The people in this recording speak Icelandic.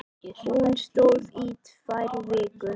Hún stóð í tvær vikur.